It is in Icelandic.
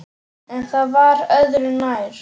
En það var öðru nær!